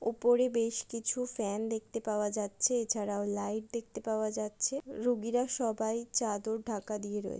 ওপরে বেশ কিছু ফ্যান দেখতে পাওয়া যাচ্ছে এছাড়াও লাইট দেখতে পাওয়া যাচ্ছে রুগীরা সবাই চাদর ঢাকা দিয়ে রয়ে--